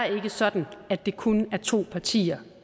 sådan at det kun er to partier